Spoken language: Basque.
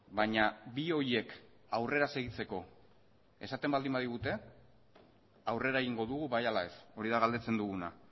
baina bi horiek aurrera segitzeko esaten baldin badigute aurrera egingo dugu bai ala ez hori da galdetzen duguna